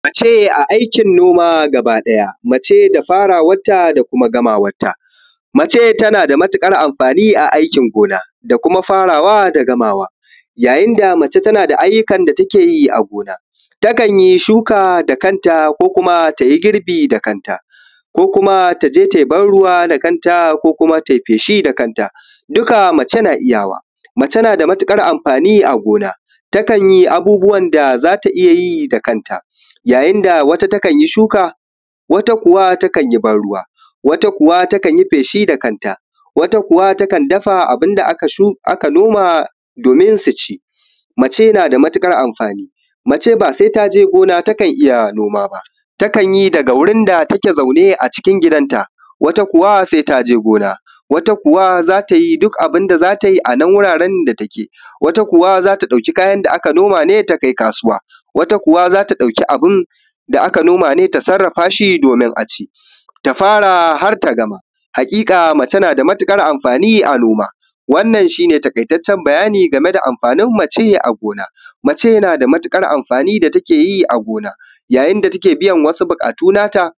Mace tana da matuƙar muhimmanci a aikin noma gaba ɗaya. Akwai mace da ke fara aikin noma har ta kai ga gamawa. Mace tana taka rawar gani wajen ayyukan gona; tana iya shuka da kanta, tana iya girbi da kanta, tana iya yin barruwa, ko yin feshi da kanta duk waɗannan mace na iya su. A gonaki daban-daban, akwai mata masu shuka, wasu kuma na yin barruwa, wasu kuma sukan yi feshi. Wasu kuma sukan dafa abin da aka noma domin a ci. Lallai mace na da babbar amfani a harkar noma. Mace ba sai ta je gona ba kafin ta yi aikinta. Wasu mata kan yi aikin noma daga gidajensu, wasu kuma sai sun je gonar, wasu kuma sukan yi duk abin da ya kamata a wurin da suke. Wasu kuwa sukan ɗauki abin da aka noma su kai kasuwa. Wasu kuma sukan sarrafa amfanin gona domin a ci. Tun daga farawa har zuwa gamawa, mace na da gagarumin tasiri a noma. Wannan shi ne taƙaitaccen bayani game da rawar da mace ke takawa a aikin gona. Mace tana biyan nata buƙatu ta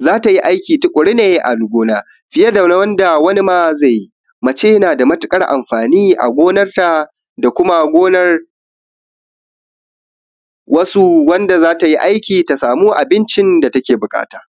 hanyar yin aiki tuƙuru a gona, har ma fiye da yadda maza da dama ke yi. Gaskiya mace tana da matuƙar muhimmanci, domin tana aiwatar da duk abin da ya dace a gonarta da kuma gonar iyalinta, ta kuma samu abin da take buƙata.